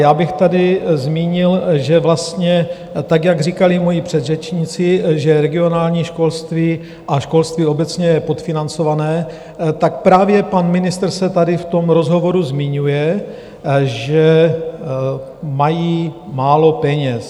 Já bych tady zmínil, že vlastně tak, jak říkali moji předřečníci, že regionální školství a školství obecně je podfinancované, tak právě pan ministr se tady v tom rozhovoru zmiňuje, že mají málo peněz.